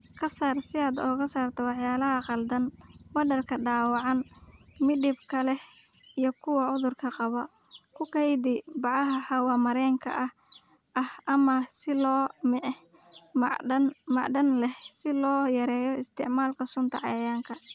"Ka saar si aad uga saarto walxaha qalaad, badarka dhaawacan, midabka leh iyo kuwa cudurka qaba, ku kaydi bacaha hawo-mareenka ah ama silo macdan ah si loo yareeyo isticmaalka sunta cayayaanka."